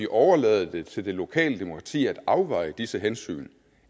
overlade det til det lokale demokrati at afveje disse hensyn